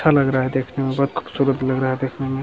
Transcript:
अच्छा लग रहा है देखने में बहुत खूबसूरत लग रहा है देखने में।